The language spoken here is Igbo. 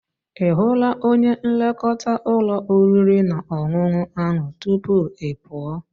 Ị hụla onye nlekọta ụlọ oriri na ọṅụṅụ ahụ tupu ị pụọ?